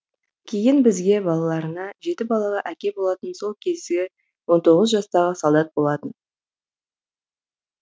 кейін бізге балаларына жеті балалы әке болатын сол кезде он тоғыз жастағы солдат болатын